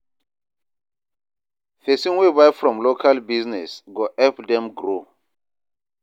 Pesin wey buy from local business, go help dem grow.